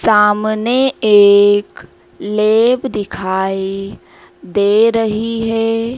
सामने एक लेब दिखाई दे रही है।